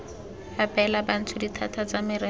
abela bantsho dithata tsa merero